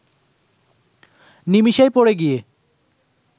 নিমিশেই পড়ে গিয়ে